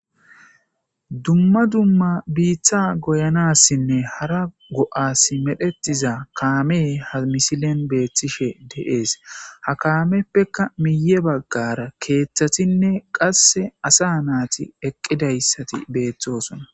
dumma dumma biiththa goyanassinne hara go7as medhetiza kaamey ha misilen beethtishe deees ha kaameppeka miye baggara keeththatinne qasse asa naati eqqidayssati beeththosona